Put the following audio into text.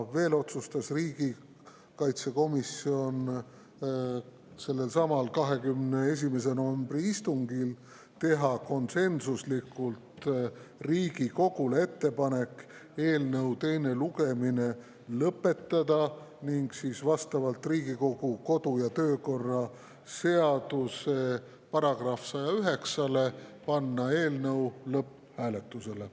Veel otsustas riigikaitsekomisjon sellelsamal 21. novembri istungil konsensuslikult teha Riigikogule ettepaneku eelnõu teine lugemine lõpetada ning vastavalt Riigikogu kodu- ja töökorra seaduse §-le 109 panna eelnõu lõpphääletusele.